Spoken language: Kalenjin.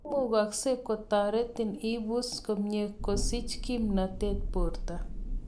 Imukagse kotaretin ibuus komyei, kosiich kiimnatet borto